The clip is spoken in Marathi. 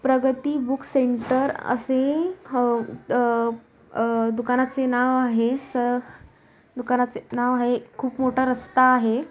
प्रगती बूक सेंटर असे अह अह अह दुकानाचे नाव आहे. स दुकानाचे नाव आहे. खूप मोठा रस्ता आहे.